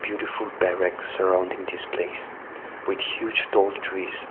the food surrounding this place which huge tall trees.